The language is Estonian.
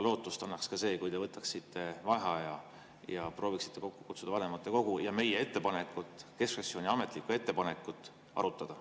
Lootust annaks ka see, kui te võtaksite vaheaja ja prooviksite kokku kutsuda vanematekogu, et meie ettepanekut, keskfraktsiooni ametlikku ettepanekut arutada.